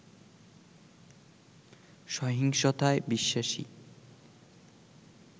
সহিংসতায় বিশ্বাসী